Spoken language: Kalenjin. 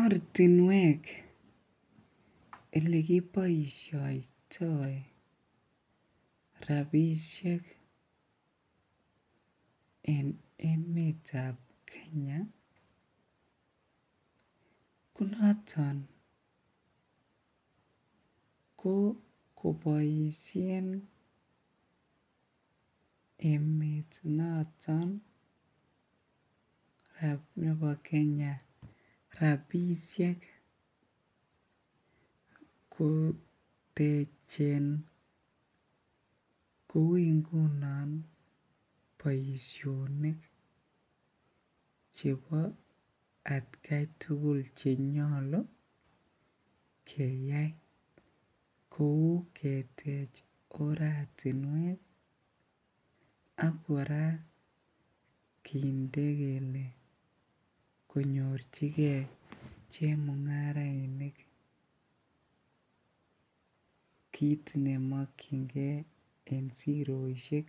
Ortinwek elekiboishoitoi rabishek en emetab Kenya ko noton ko koboishen emet noton nebo enya rabishek kotechen kouu ingunon boishonik chebo atkai tukul chenyolu keyai kou ketech oratinwek ak kora kinde kelee konyorchike chemungarainik kiit nemokyinge en siroshek,